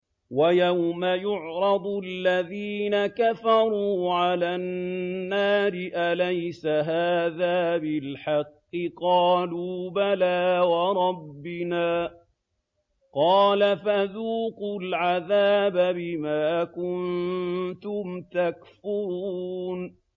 وَيَوْمَ يُعْرَضُ الَّذِينَ كَفَرُوا عَلَى النَّارِ أَلَيْسَ هَٰذَا بِالْحَقِّ ۖ قَالُوا بَلَىٰ وَرَبِّنَا ۚ قَالَ فَذُوقُوا الْعَذَابَ بِمَا كُنتُمْ تَكْفُرُونَ